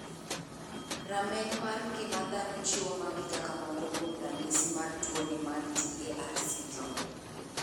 Rameny mar ng'ima dhano chiwo magi kaka moko kuom ranyisi mar tuo ni marTAR syndrome.